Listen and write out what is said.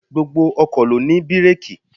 Gbogbo ọkọ̀ ló ní bireeki.